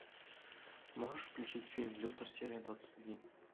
можешь включить фильм лютер серия двадцать один